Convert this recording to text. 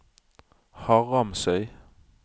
Haramsøy